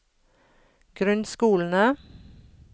grunnskolene